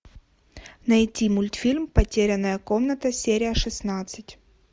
найти мультфильм потерянная комната серия шестнадцать